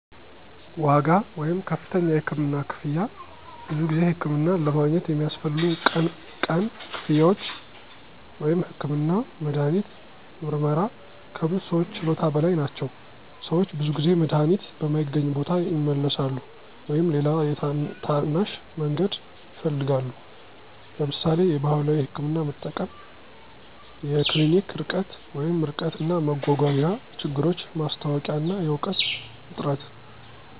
ዋጋ (ከፍተኛ የህክምና ክፍያ) ብዙ ጊዜ ሕክምናን ለማግኘት የሚያስፈልጉ ቀን ቀን ክፍያዎች (ህክምና፣ መድሃኒት፣ ምርመራ) ከብዙ ሰዎች ችሎታ በላይ ናቸው። - ሰዎች ብዙ ጊዜ መድሃኒት በማይገኝ ቦታ ይመለሳሉ ወይም ሌላ የታናሽ መንገድ ይፈልጋሉ (ለምሳሌ የባህላዊ ሕክምና መጠቀም)። የክሊኒክ ርቀት (ርቀት እና መጓጓዣ ችግሮች ማስታወቂያ እና የእውቀት እጥረት